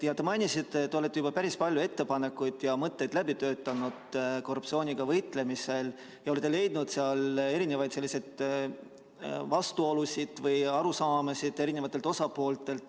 Te mainisite, et olete juba päris palju ettepanekuid ja mõtteid korruptsiooniga võitlemisel läbi töötanud ja olete leidnud eri osapoolte vahel vastuolusid või erinevaid arusaamasid.